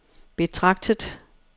betragtet